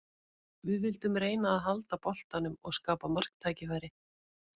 Við vildum reyna að halda boltanum og skapa marktækifæri.